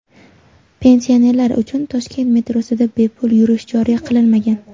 Pensionerlar uchun Toshkent metrosida bepul yurish joriy qilinmagan.